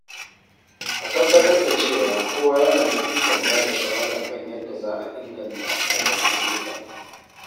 A tabbatar da cewa kowa yana da ikon bada shawara kan yadda za a inganta rabon ayyuka.